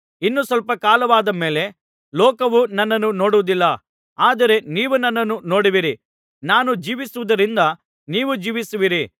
ಇನ್ನು ಸ್ವಲ್ಪ ಕಾಲವಾದ ಮೇಲೆ ಲೋಕವು ನನ್ನನ್ನು ನೋಡುವುದಿಲ್ಲ ಆದರೆ ನೀವು ನನ್ನನ್ನು ನೋಡುವಿರಿ ನಾನು ಜೀವಿಸುವುದರಿಂದ ನೀವು ಜೀವಿಸುವಿರಿ